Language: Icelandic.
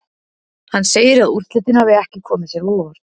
Hann segir að úrslitin hafi ekki komið sér á óvart.